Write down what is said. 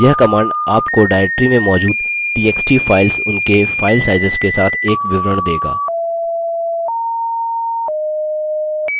यह command आपको directory में मौजूद txt files उनके फाइल sizes के साथ एक विवरण देगा